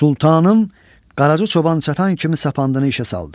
Sultanım Qaracı Çoban çatan kimi sapandını işə saldı.